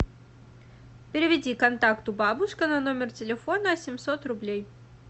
переведи контакту бабушка на номер телефона семьсот рублей